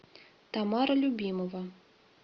тамара любимова